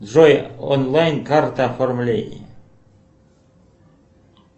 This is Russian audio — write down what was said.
джой онлайн карта оформление